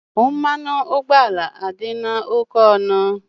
Mmanụ ụgbọala adịla oke ọnụ.